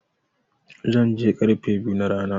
Zan je karfe biyu na rana.